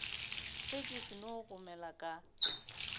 ge ke seno gomela ka